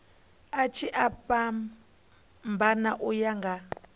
tshi a fhambana uya nga